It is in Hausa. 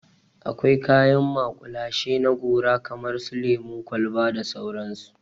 Akwai kayan maƙulashe na gora kamar su lemun kwalba da sauransu.